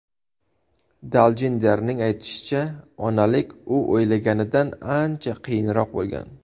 Daljinderning aytishicha, onalik u o‘ylaganidan ancha qiyinroq bo‘lgan.